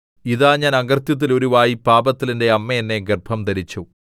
ഇതാ ഞാൻ അകൃത്യത്തിൽ ഉരുവായി പാപത്തിൽ എന്റെ അമ്മ എന്നെ ഗർഭംധരിച്ചു